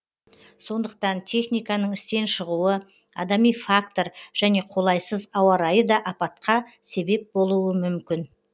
сондықтан техниканың істен шығуы адами фактор және қолайсыз ауа райы да апатқа себеп болуы мүмкін